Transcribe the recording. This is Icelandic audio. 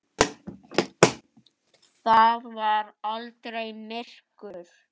Það var aldrei myrkur.